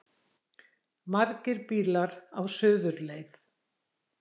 Margir bílar á suðurleið